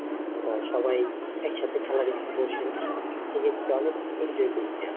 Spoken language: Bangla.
আহ সবাই একসাথে খেলা দেখছি বসে আছি সেক্ষেত্রে অনেক enjoy করছি আমরা।